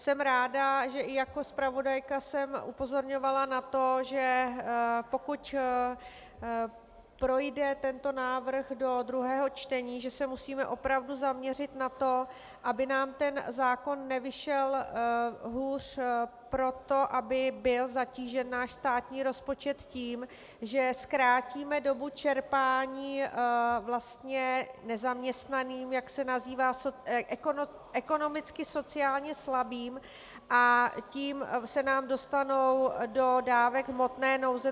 Jsem ráda, že i jako zpravodajka jsem upozorňovala na to, že pokud projde tento návrh do druhého čtení, že se musíme opravdu zaměřit na to, aby nám ten zákon nevyšel hůř proto, aby byl zatížen náš státní rozpočet tím, že zkrátíme dobu čerpání vlastně nezaměstnaným, jak se nazývají, ekonomicky sociálně slabým, a tím se nám dostanou do dávek hmotné nouze.